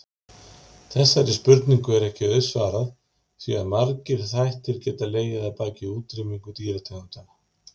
Þessari spurningu er ekki auðsvarað því að margir þættir geta legið að baki útrýmingu dýrategunda.